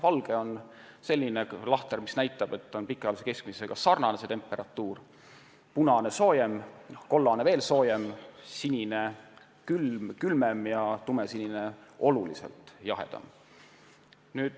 Valge on selline lahter, mis näitab, et temperatuur on pikaajalise keskmisega sarnane, punane tähistab soojemat, kollane veel soojemat, sinine külmemat ja tumesinine pikaajalisest keskmisest oluliselt külmemat temperatuuri.